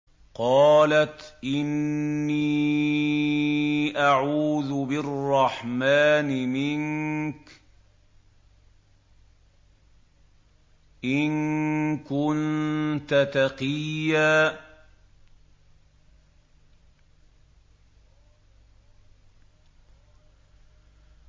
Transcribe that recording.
قَالَتْ إِنِّي أَعُوذُ بِالرَّحْمَٰنِ مِنكَ إِن كُنتَ تَقِيًّا